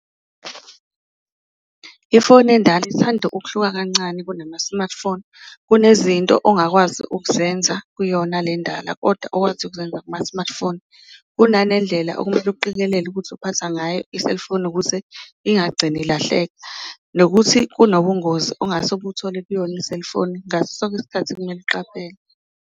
Ifoni endala ithanda ukuhluka kancane kunama-smartphone kunezinto ongakwazi ukuzenza kuyona lendala kodwa okwazi ukuzenza kuma-smartphone, kunane ndlela okumele uqikelele ukuthi uphatha ngayo i-cellphone ukuze ingagcini ilahleka. Nokuthi kunobungozi ongase ubuthole kuyona i-cellphone ngaso sonke isikhathi kumele uqaphele.